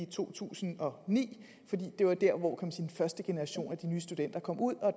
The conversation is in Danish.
to tusind og ni fordi det var der hvor kan den første generation af de nye studenter kom ud og